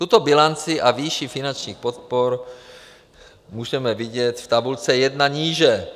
Tuto bilanci a výši finančních podpor můžeme vidět v tabulce 1 níže.